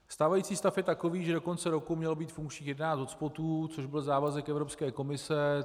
Stávající stav je takový, že do konce roku mělo být funkčních jedenáct hotspotů, což byl závazek Evropské komise.